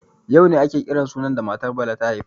Yau ne ake kiran sunan matar da Bala ta haifa.